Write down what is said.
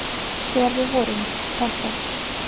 Þegar við vorum. krakkar.